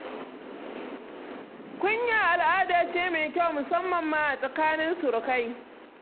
Kunya al'ada ce mai kyau, musamman ma a tsakanin surukai.